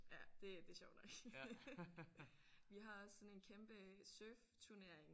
Ja det det er sjovt nok. Vi har også sådan en kæmpe surfturnering